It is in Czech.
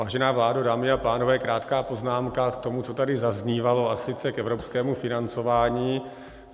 Vážená vládo, dámy a pánové, krátká poznámka k tomu, co tady zaznívalo, a sice k evropskému financování.